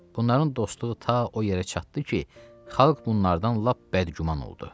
Bunların dostluğu ta o yerə çatdı ki, xalq bunlardan lap bədgüman oldu.